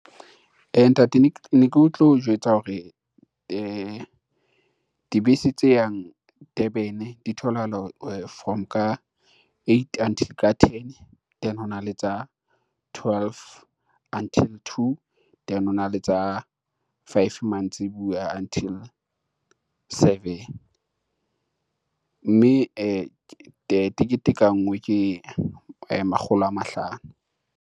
Eya ntate ne ke o tlo jwetsa hore dibese tse yang Durban di tholahala from ka eight until ka ten, then hona le tsa twelve until two, then hona le tsa five mantsibuya until seven. Mme tekete ka ngwe ke makgolo a mahlano.